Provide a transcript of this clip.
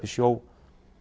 í sjó